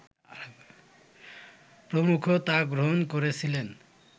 প্রমুখ তা গ্রহণ করেছিলেন